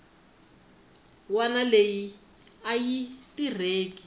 wana leyi a yi tirheke